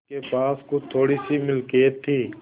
उसके पास कुछ थोड़ीसी मिलकियत थी